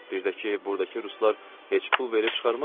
Bir də ki, burdakı ruslar heç pul verib çıxarmazdılar da.